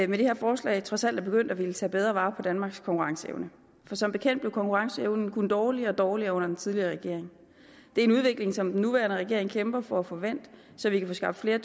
det her forslag trods alt er begyndt at ville tage bedre vare på danmarks konkurrenceevne for som bekendt blev konkurrenceevnen kun dårligere og dårligere under den tidligere regering det er en udvikling som den nuværende regering kæmper for at få vendt så vi kan få skaffet